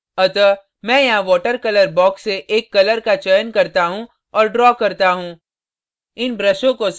अतः मैं यहाँ water colour box से एक colour का चयन करता हूँ और draw करता हूँ